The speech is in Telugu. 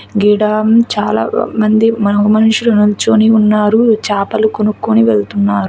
గీడ చాలా మంది మనో మనుషులు నిల్చొని ఉన్నారు చేపలు కొనుక్కొని వెళ్తున్నారు.